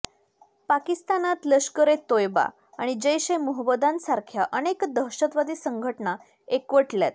पाकिस्तानात लष्कर ए तोयबा आणि जैश ए मोहम्मदयांसारख्या अनेक दहशतवादी संघटना एकवटल्यात